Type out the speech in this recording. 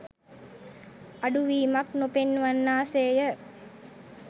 අඩුවීමක් නොපෙන්වන්නා සේය